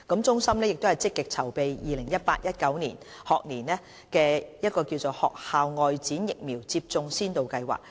中心正積極籌備 2018-2019 學年學校外展疫苗接種先導計劃。